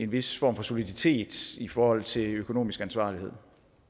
vis form for soliditet i forhold til økonomisk ansvarlighed